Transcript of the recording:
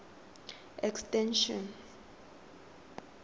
extension